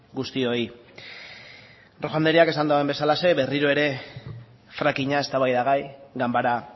guztioi rojo andreak esan duen bezalaxe berriro ere frackinga eztabaida gai ganbara